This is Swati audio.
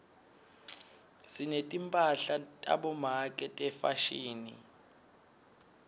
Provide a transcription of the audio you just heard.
sinetimphahla tabomake tefashini